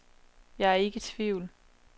Jeg er ikke i tvivl.